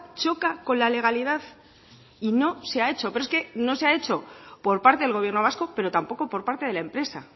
choca con la legalidad y no se ha hecho pero es que no se ha hecho por parte del gobierno vasco pero tampoco por parte de la empresa